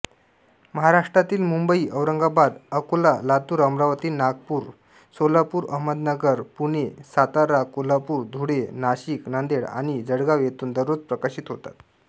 हे महाराष्ट्रातीलमुंबईऔरंगाबादअकोलालातूरअमरावतीनागपूरसोलापूरअहमदनगरपुणेसाताराकोल्हापूरधुळेनाशिकनांदेड आणि जळगाव येथून दररोज प्रकाशित होतात